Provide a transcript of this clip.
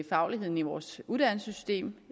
fagligheden i vores uddannelsessystem